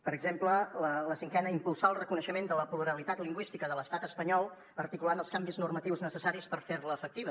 per exemple la cinquena impulsar el reconeixement de la pluralitat lingüística de l’estat espanyol articulant els canvis normatius necessaris per fer la efectiva